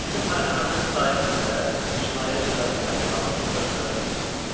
Sizin mərhəmətiniz sayəsində cinayət cəzasından yaxamı güclə qurtara bildim.